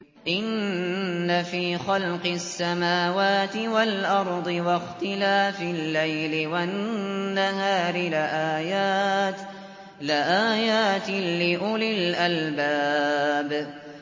إِنَّ فِي خَلْقِ السَّمَاوَاتِ وَالْأَرْضِ وَاخْتِلَافِ اللَّيْلِ وَالنَّهَارِ لَآيَاتٍ لِّأُولِي الْأَلْبَابِ